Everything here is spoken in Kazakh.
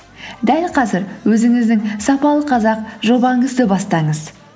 дәл қазір өзіңіздің сапалы қазақ жобаңызды бастаңыз